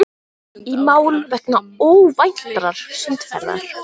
Í mál vegna óvæntrar sundferðar